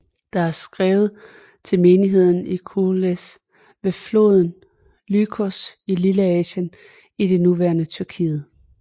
Det er skrevet til menigheden i Kolossæ ved floden Lykus i Lilleasien i det nuværende Tyrkiet